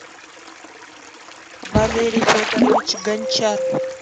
валерий федорович гончар